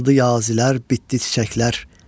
Açıldı yazilər, bitdi çiçəklər.